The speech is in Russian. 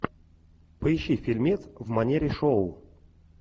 поищи фильмец в манере шоу